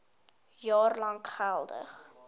jaar lank geldig